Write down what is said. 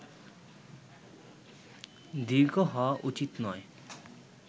দীর্ঘ হওয়া উচিত নয়